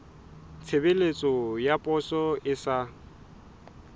tshebeletso ya poso e sa